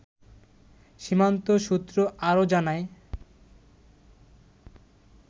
সীমান্ত সূত্র আরো জানায়